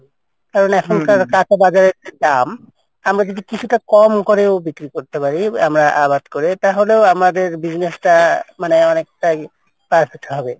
কারন এখনকার কাঁচা বাজারের যা দাম আড়া যদি কিছুটা কম করেও বিক্রি করতে পারি আমরা আবাদ করে তাহলেও আমাদের business টা মানে অনেকটাই perfect হবে।